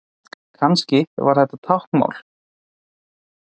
Kannski var þetta táknmál?